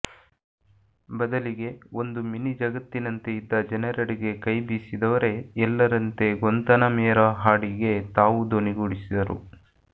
ಬದಲಿಗೆ ಒಂದು ಮಿನಿ ಜಗತ್ತಿನಂತೆ ಇದ್ದ ಜನರೆಡೆಗೆ ಕೈ ಬೀಸಿದವರೇ ಎಲ್ಲರಂತೆ ಗ್ವನ್ತನಮೇರಾ ಹಾಡಿಗೆ ತಾವೂ ದನಿಗೂಡಿಸಿದರು